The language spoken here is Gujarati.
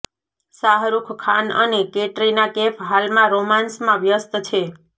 શાહરુખ ખાન અને કેટરિના કૈફ હાલમાં રોમાંસમાં વ્યસ્ત છે